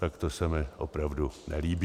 Tak to se mi opravdu nelíbí.